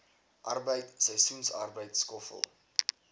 arbeid seisoensarbeid skoffel